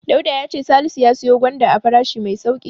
Dauda ya ce Salisu ya siyo gwanda a farashi mai sauƙi.